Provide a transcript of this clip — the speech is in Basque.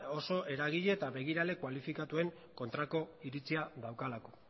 oso eragile eta begirale kualifikatuen kontrako iritzia daukalako